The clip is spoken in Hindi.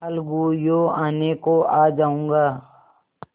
अलगूयों आने को आ जाऊँगा